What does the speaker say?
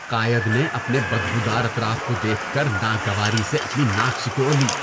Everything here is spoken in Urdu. قائد نے اپنے بدبودار اطراف کو دیکھ کر ناگواری سے اپنی ناک سکوڑ لی۔